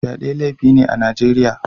Fyade laifi ne a Najeriya